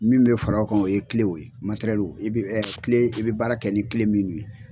Min be fara o kan o ye kilew ye materɛlu e ɛ kilew e bi baara kɛ ni kile minnu ye